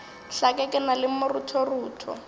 hlake ke na le maruthorutho